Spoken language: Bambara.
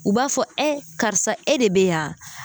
U b'a fɔ karisa e de bɛ yan?